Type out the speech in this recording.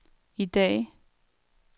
i dag